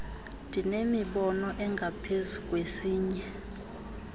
ndinemibono engaphezu kwesinye